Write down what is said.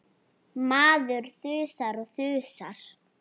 Maður þusar og þusar.